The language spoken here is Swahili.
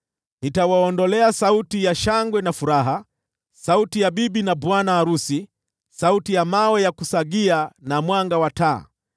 Nitawaondolea sauti ya shangwe na furaha, sauti ya bibi na bwana arusi, sauti ya mawe ya kusagia, na mwanga wa taa.